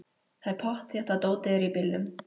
Það er pottþétt að dótið er í bílnum!